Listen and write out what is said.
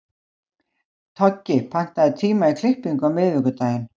Toggi, pantaðu tíma í klippingu á miðvikudaginn.